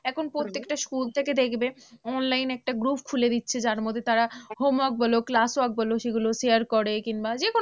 এখন প্রত্যেকটা school থেকে দেখবে online একটা group খুলে দিচ্ছে যার মধ্যে তারা homework বলো classwork বলো সেগুলো share করে কিংবা যেকোনো